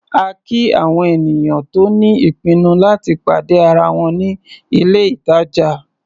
A kí àwọn ènìyàn tó ní ìpinnu láti pàdé ara wọn ní ilé-ìtàjà.